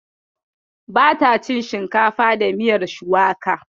Ba ta cin shinkafa da miyar shuwaka